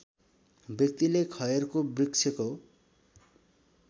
व्यक्तिले खयरको वृक्षको